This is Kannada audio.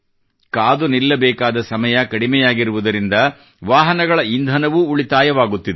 ಕಾದು ನಿಲ್ಲಬೇಕಾದ ಸಮಯ ಕಡಿಮೆಯಾಗಿರುವುದರಿಂದ ವಾಹನಗಳ ಇಂಧನವೂ ಉಳಿತಾಯವಾಗುತ್ತಿದೆ